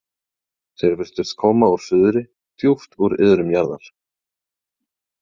Þeir virtust koma úr suðri, djúpt úr iðrum jarðar.